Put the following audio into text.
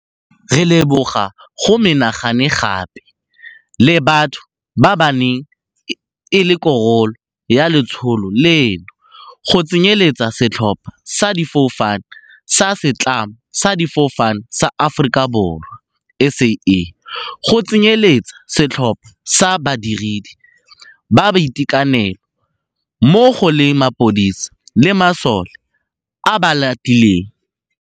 Re leboga go menagane gape le batho ba ba neng e le karolo ya letsholo leno, go tsenyeletsa setlhopha sa difofane sa Setlamo sa Difofane sa Aforika Borwa SAA go tsenyeletsa setlhopha sa badiredi ba boitekanelo mmo go le mapodisi le masole a a ba latileng.